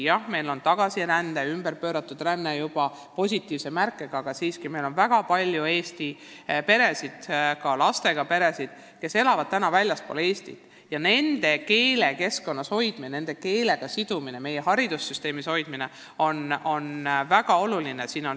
Jah, meil on tagasiränne juba plussmärgiga, aga siiski on väga palju eesti peresid, ka lastega peresid, kes elavad täna väljaspool Eestit, ja nende emakeelses keskkonnas, emakeelses haridussüsteemis hoidmine on väga oluline.